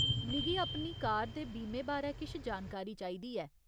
मिगी अपनी कार दे बीमे बारै किश जानकारी चाहिदी ऐ।